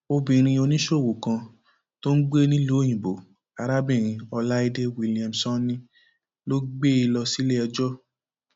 obìnrin oníṣòwò kan tó ń gbé nílùú òyìnbó arábìnrin ọláìdé williamsòní ló gbé e lọ síléẹjọ